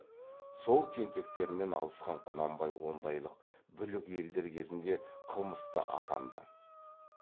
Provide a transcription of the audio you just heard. сол тентектермен алысқан құнанбай ондайлық бүлік елдер кезінде қылмысты атанды